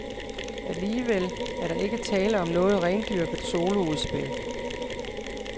Alligevel er der ikke tale om noget rendyrket soloudspil.